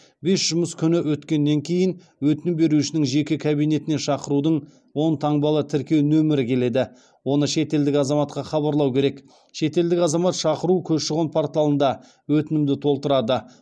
бес жұмыс күні өткеннен кейін өтінім берушінің жеке кабинетіне шақырудың он таңбалы тіркеу нөмірі келеді оны шетелдік азаматқа хабарлау керек шетелдік азамат шақыру көші қон порталында өтінімді толтырады